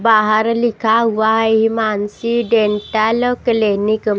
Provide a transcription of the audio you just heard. बाहर लिखा हुआ हिमांशी डेंटल क्लिनिक --